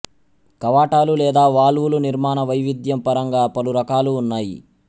కవాటాలు లేదా వాల్వులు నిర్మాణ వైవిధ్యం పరంగా పలురకాలు ఉన్నాయి